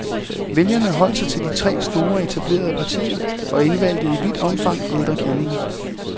Vælgerne holdt sig til de tre store, etablerede partier og indvalgte i vidt omfang ældre kendinge.